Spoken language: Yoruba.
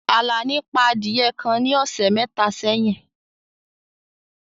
Àlàní pa adiye kan ní ọsẹ̀ métà séyìn.